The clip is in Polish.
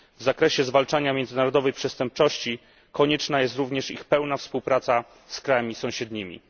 W zakresie zwalczania międzynarodowej przestępczości konieczna jest również ich pełna współpraca z krajami sąsiednimi.